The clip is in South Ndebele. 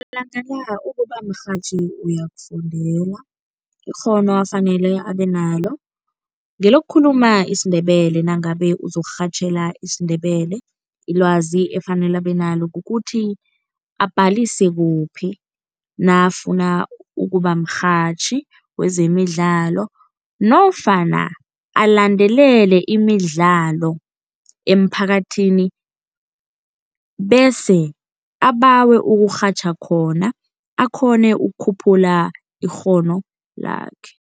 Malanga la ukuba mrhatjhi uyakufundela. Ikghono afanele abenalo ngilokukhuluma isiNdebele nangabe uzokurhatjhela isiNdebele. Ilwazi efanele abenalo kukuthi abhalise kuphi nakafuna ukuba mrhatjhi wezemidlalo nofana alandelele imidlalo emphakathini bese abawe ukurhatjha khona akghone ukukhuphula ikghono lakhe.